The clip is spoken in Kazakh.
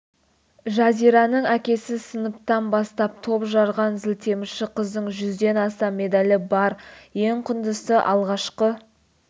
жазираның әкесі сыныптан бастап топ жарған зілтемірші қыздың жүзден астам медальі бар ең құндысы алғашқы